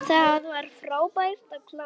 Það var frábært að klára þennan leik.